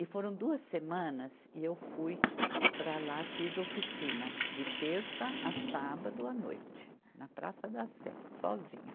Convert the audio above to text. E foram duas semanas e eu fui para lá, fiz oficina, de terça à sábado à noite, na Praça da Sé, sozinha.